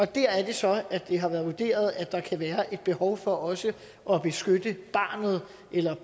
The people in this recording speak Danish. der er det så det har været vurderet at der i kan være et behov for også at beskytte barnet eller